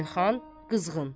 Elxan qızğın.